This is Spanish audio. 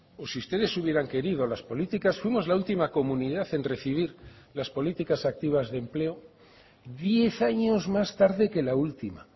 o si ustedes hubieran querido las políticas fuimos la última comunidad en recibir las políticas activas de empleo diez años más tarde que la última